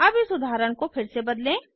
अब इस उदाहरण को फिर से बदलें